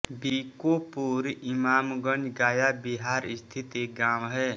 बीकोपुर इमामगंज गया बिहार स्थित एक गाँव है